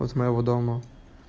вот с моего дома